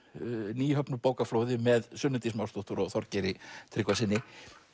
nýhöfnu með Sunnu Dís Másdóttur og Þorgeiri Tryggvasyni